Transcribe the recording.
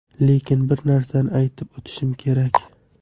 Lekin bir narsani aytib o‘tishim kerak.